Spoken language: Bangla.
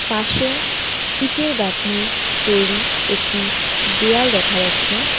পাশে ইটের গাঁথনির তৈরি একটি দেয়াল দেখা যাচ্ছে.